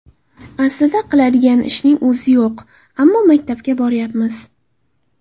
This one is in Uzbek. Aslida qiladigan ishning o‘zi yo‘q, ammo maktabga boryapmiz.